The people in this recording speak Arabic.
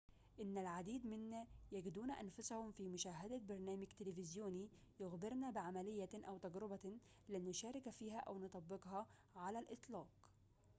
إن العديد منا يجدون أنفسهم في مشاهدة برنامج تلفزيوني يخبرنا بعمليةٍ أو تجربةٍ لن نشارك فيها أو نطبقها على الإطلاق